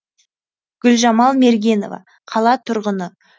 гүлжамал мергенова қала тұрғыны